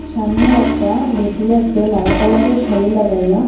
সামনে একটা বেটি আসে লাল কালারের -এর শাড়ি লাগাইয়া।